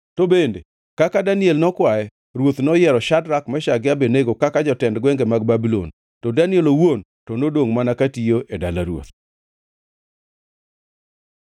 To bende, kaka Daniel nokwaye, ruoth noyiero Shadrak, Meshak gi Abednego kaka jotend gwenge mag Babulon, to Daniel owuon to nodongʼ mana katiyo e dala ruoth.